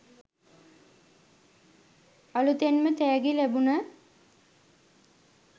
අලුතෙන්ම තෑගි ලැබුණ